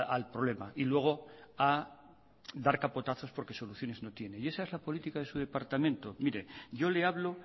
al problema y luego a dar capotazos porque soluciones no tiene esa es la política de su departamento mire yo le hablo